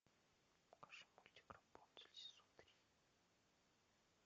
покажи мультик рапунцель сезон три